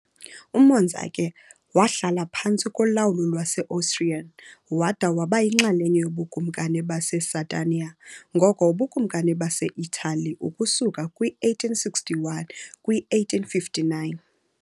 UMonza ke wahlala phantsi kolawulo lwase-Austrian, wada waba yinxalenye yoBukumkani baseSardinia, ngoko uBukumkani base-Italy ukusuka kwi -1861, kwi- 1859 .